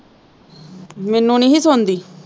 ਨਹੀਂ ਸੋਂਦੀ।